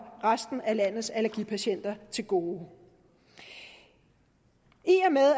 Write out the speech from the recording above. resten af landets allergipatienter til gode i